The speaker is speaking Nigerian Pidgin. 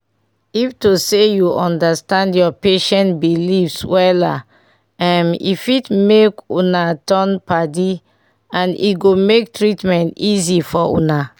if to say u understand ur patient beliefs wella um e fit make una turn- padi.and e go mk treatment easy for una